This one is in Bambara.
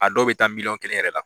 A dɔw bɛ taa miliyɔn kelen yɛrɛ la.